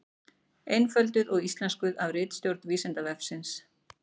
Einfölduð og íslenskuð af ritstjórn Vísindavefsins.